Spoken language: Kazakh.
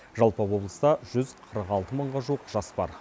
жалпы облыста жүз қырық алты мыңға жуық жас бар